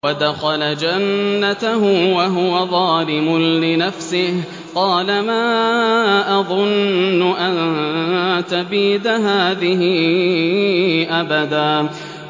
وَدَخَلَ جَنَّتَهُ وَهُوَ ظَالِمٌ لِّنَفْسِهِ قَالَ مَا أَظُنُّ أَن تَبِيدَ هَٰذِهِ أَبَدًا